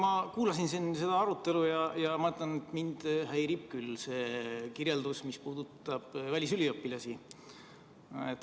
Ma kuulasin siin seda arutelu ja ma ütlen, et mind häirib küll see kirjeldus, mis puudutab välisüliõpilasi.